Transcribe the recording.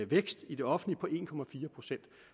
vækst i det offentlige på en procent